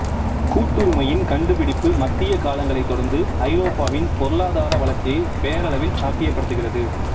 கூட்டுரிமையின் கண்டுபிடிப்பு மத்திய காலங்களைத் தொடர்ந்து ஐரோப்பாவின் பொருளாதார வளர்ச்சியை பேரளவில் சாத்தியப்படுத்தியது